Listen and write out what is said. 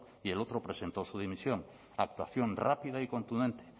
y el otro presentó su dimisión actuación rápida y contundente